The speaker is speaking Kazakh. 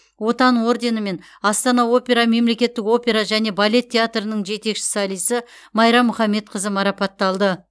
отан орденімен астана опера мемлекеттік опера және балет театрының жетекші солисі майра мұхамедқызы марапатталды